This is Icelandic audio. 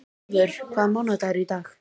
Ævör, hvaða mánaðardagur er í dag?